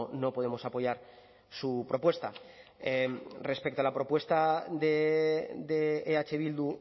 no podemos apoyar su propuesta respecto a la propuesta de eh bildu